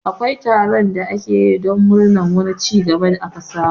Akwai taron da ake yi don murnar wani cigaba da aka samu